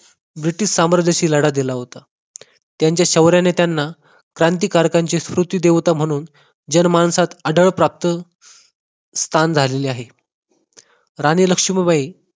British साम्राज्याशी लढा दिला होता. त्यांच्या शौर्याने त्यांना क्रांतिकारकाची स्मृती देवता म्हणून जनमानसात अढळ प्राप्त स्थान झाले आहे राणी लक्ष्मीबाई